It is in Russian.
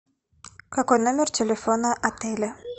какой номер телефона отеля